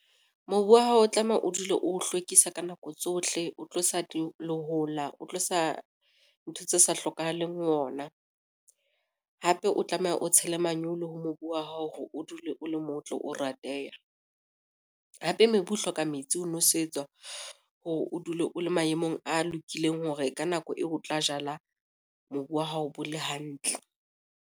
Mobu wa hao o tlameha o dule o hlwekisa ka nako tsohle, o tlosa lehola, o tlosa ntho tse sa hlokahaleng ho ona. Hape o tlameha o tshela manyolo ho mobu wa hao hore o dule o le motle, o rateha. Hape mobu o hloka metsi ho nwesetswa hore o dule o le maemong a lokileng hore ka nako eo o tla jala mobu wa hao bo le hantle.